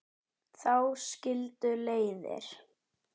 Þá skildu leiðir.